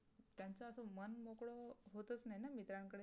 उद नाही न उदानाकारे